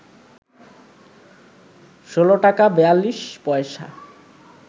১৬ টাকা ৪২ পয়সা